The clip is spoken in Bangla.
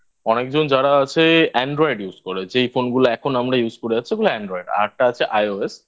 অনেকজন যারা আছে Android Use করে যেই Phone গুলো এখন আমরা Use করে যাচ্ছি ওগুলো Android আরেকটা আছে IOS